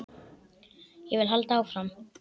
Ég vil halda áfram.